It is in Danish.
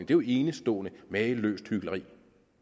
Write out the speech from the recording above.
jo enestående mageløst hykleri